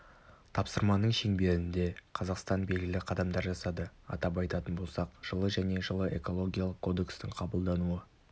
тапсырманың шеңберінде қазақстан белгілі қадамдар жасады атап айтатын болсақ жылы және жылы экологиялық кодекстің қабылдануы